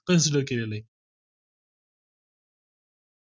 consider केलेले